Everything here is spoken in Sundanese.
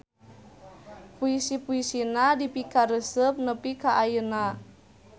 Puisi-puisina dipikaresep nepi ka ayeuna.